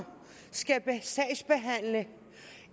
skal sagsbehandle